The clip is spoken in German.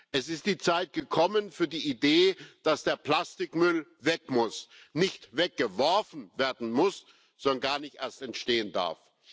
Es ist die Zeit gekommen für die Idee, dass der Plastikmüll weg muss nicht weggeworfen werden muss, sondern gar nicht erst entstehen darf.